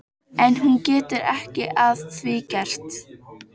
En hún getur ekki að því gert.